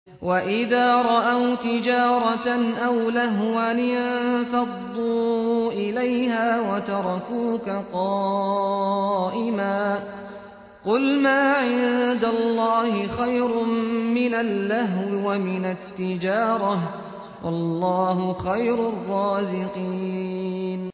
وَإِذَا رَأَوْا تِجَارَةً أَوْ لَهْوًا انفَضُّوا إِلَيْهَا وَتَرَكُوكَ قَائِمًا ۚ قُلْ مَا عِندَ اللَّهِ خَيْرٌ مِّنَ اللَّهْوِ وَمِنَ التِّجَارَةِ ۚ وَاللَّهُ خَيْرُ الرَّازِقِينَ